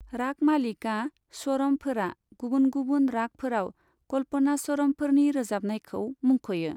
रागमालिका स्वरमफोरा गुबुन गुबुन रागफोराव कल्पनास्वरमफोरनि रोजाबनायखौ मुंख'यो।